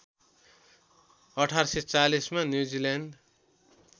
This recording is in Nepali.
१८४० मा न्युजिल्यान्ड